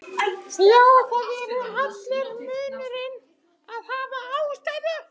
Já það er allur munurinn að hafa ástæðu.